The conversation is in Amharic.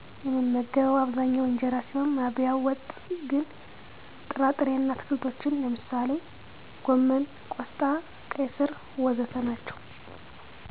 የምመገበው አብዛኛው እንጀራ ሲሆን ማባያው ወጥ ግን ጥራ ጥሬ እና አትክልቶችን ነው። ለምሳሌ ጎመን፣ ቆስጣ፣ ቀይ ስር.... ወዘተ ናቸዉ